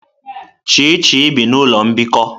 Chichi bi n'ụlọ mbikọ.